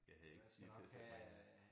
Jeg havde ikke tid til til at bringe